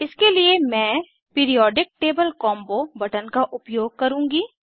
इसके लिए मैं पीरिऑडिक टेबल कॉम्बो बटन का उपयोग करुँगी